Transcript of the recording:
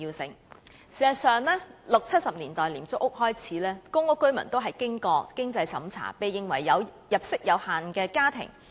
事實上，由1960年代、1970年代的廉租屋開始，公屋居民均須經過經濟審查，評定為入息有限的家庭。